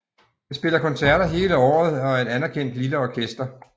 Det spiller koncerter hele året og er et anerkendt lille orkester